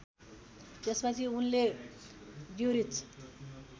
त्यसपछि उनले ज्युरिच